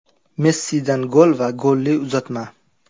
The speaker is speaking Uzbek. Messidan gol va golli uzatma.